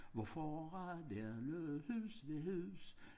Hvor før der lå hus ved hus